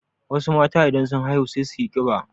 Wasu matan idan sun haihu sai suyi ƙiba.